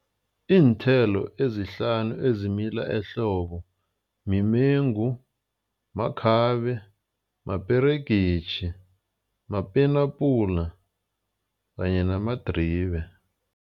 Iinthelo ezihlanu ezimila ehlobo mimengu, makhabe, maperegisi, mapenapula kanye namadribe.